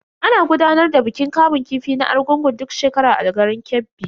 Ana gudanar da bikin kamun kifi na Argungun duk shekara a garin Kebbi.